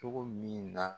Cogo min na